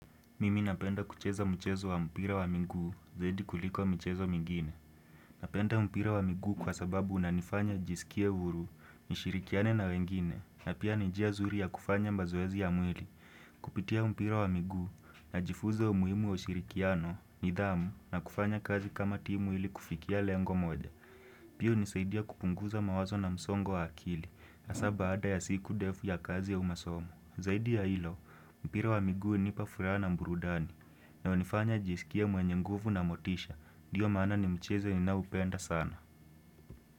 Mimi napenda kucheza mchezo wa mpira wa miguu zaidi kuliko mchezo mingine. Napenda mpira wa miguu kwa sababu unanifanya jisikie uhuru nishirikiane na wengine na pia ni njia zuri ya kufanya mazoezi ya mwili. Kupitia mpira wa miguu najifuza umuhimu wa ushirikiano nidhamu na kufanya kazi kama timu ili kufikia lengo moja. Pia hunisaidia kupunguza mawazo na msongo wa akili hasaa baada ya siku defu ya kazi au masomo. Zaidi ya hilo, mpira wa miguu hunipa furaha na burudani, na hunifanya jisikie mwenye nguvu na motisha, diyo maana ni mchezo ninaupenda sana.